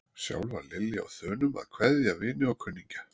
Sjálf var Lilla á þönum að kveðja vini og kunningja.